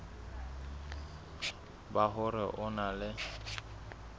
ba hore o na le